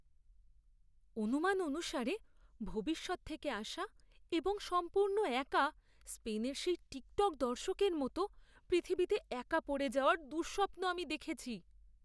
অনুমান অনুসারে ভবিষ্যৎ থেকে আসা এবং সম্পূর্ণ একা স্পেনের সেই টিকটক দর্শকের মতো পৃথিবীতে একা পড়ে যাওয়ার দুঃস্বপ্ন আমি দেখেছি।